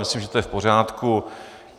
Myslím, že to je v pořádku.